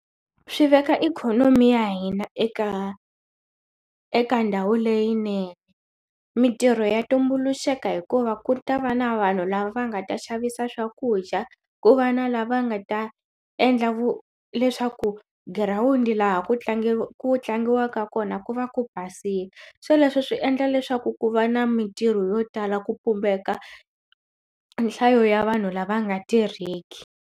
Swi veka ikhonomi ya hina eka eka ndhawu leyinene mitirho ya tumbuluxeriwa hikuva ku ta va na vanhu lava nga ta xavisa swakudya ku va na lava nga ta endla ku leswaku girawundi laha ku tlangiwa ku tlangiwaka kona ku va ku basile so leswi swi endla leswaku ku va na mitirho yo tala ku pumbeka nhlayo ya vanhu lava nga tirheki.